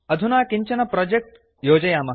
अधुना किञ्चन प्रोजेक्ट् योजयामः